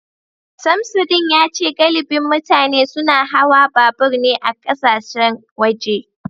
Samsudeen yace galibin mutane suna hawa babur ne a kasashen waje